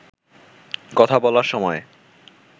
কথা বলার সময়